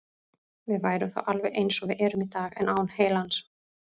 Við værum þá alveg eins og við erum í dag, en án heilans.